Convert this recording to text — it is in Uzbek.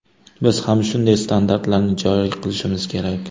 Biz ham shunday standartlarni joriy qilishimiz kerak.